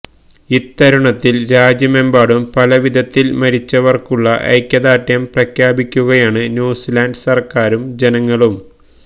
ഇത്തരുണത്തിൽ രാജ്യമെമ്പാടും പല വിധത്തിൽ മരിച്ചവർക്കുള്ള ഐക്യദാർഢ്യം പ്രഖ്യാപിക്കുകയാണ് ന്യുസീലൻഡ് സർക്കാരും ജനങ്ങളും